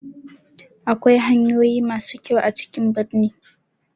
Akwai hanyoyi ma su kyau a cikin birni.